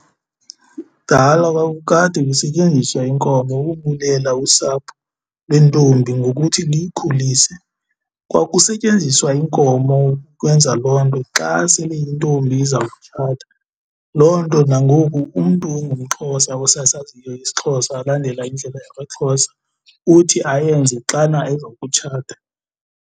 Kudala kwakukade kusetyenziswa inkomo ukubulela usapho lwentombi ngokuthi liyikhulise, kwakusetyenziswa iinkomo ukwenza loo nto xa sele intombi izawutshata. Loo nto nangoku umntu ongumXhosa osasaziyo isiXhosa olandela indlela yakwaXhosa uthi ayenze xana eza kutshata.